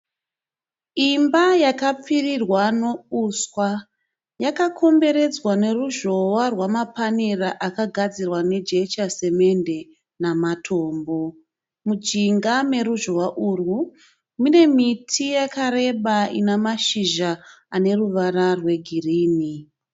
Imba yakapfirirwa neuswa. Yakakomberedzwa neruzhowa rwamapanera akagadzirwa nejecha samende namatombo. Mujinga mweruzhowa urwu mune miti yakareba ine mashizha aneruvara rwegirinhi.